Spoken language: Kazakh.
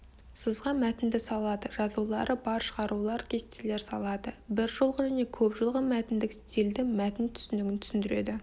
сызға мәтінді салады жазулары бар шығарулар кестелерді салады бір жолғы және көп жолғы мәтіндік стильді мәтін түсінігін түсіндіреді